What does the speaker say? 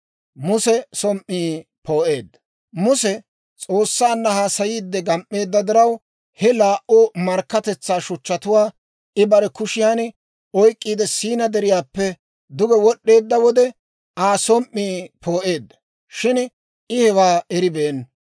Muse S'oossanna haasayiide gam"eedda diraw, he laa"u markkatetsaa shuchchatuwaa I bare kushiyaan oyk'k'iide Siinaa Deriyaappe duge wod'd'eedda wode, Aa som"ii poo'eedda; shin I hewaa eribeenna.